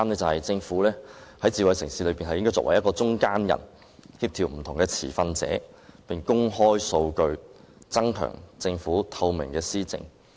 第三，政府應該擔當智慧城市的中間人角色，協調不同持份者並且公開數據，增強政府施政的透明度。